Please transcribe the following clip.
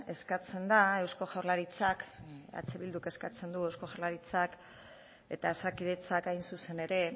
eskatzen da eusko jaurlaritzak eh bilduk eskatzen du eusko jaurlaritzak eta osakidetzak hain zuzen ere